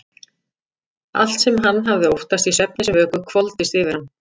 Allt sem hann hafði óttast í svefni sem vöku hvolfdist yfir hann.